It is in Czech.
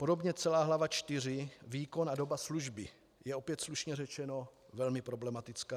Podobně celá hlava IV - výkon a doba služby - je opět, slušně řečeno, velmi problematická.